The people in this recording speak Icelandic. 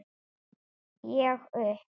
Ég upp